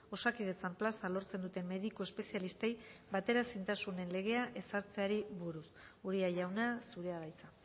osakidetzan plaza lortzen duten mediku espezialistei bateraezintasunen legea ezartzeari buruz uria jauna zurea da hitza